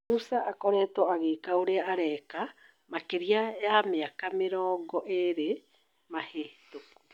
"Musa akoretwo agĩka ũria areka makĩria ya mĩaka mĩrongo ĩrĩ mĩhetũku"